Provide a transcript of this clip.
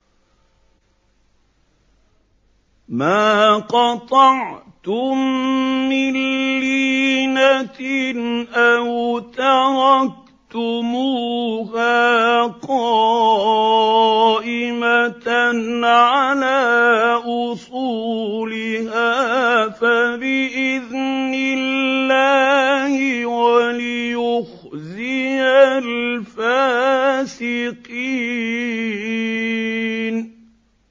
مَا قَطَعْتُم مِّن لِّينَةٍ أَوْ تَرَكْتُمُوهَا قَائِمَةً عَلَىٰ أُصُولِهَا فَبِإِذْنِ اللَّهِ وَلِيُخْزِيَ الْفَاسِقِينَ